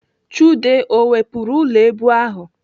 Chude o wepụrụ ụlọ èbù ahụ?